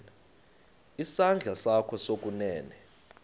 isandla sakho sokunene